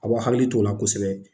A b'aw hakili t'ola kosɛbɛ